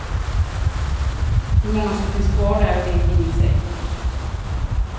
Hur många som finns kvar där, vet ingen säkert.